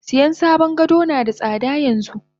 Siyan sabon gado nada tsada yanxu.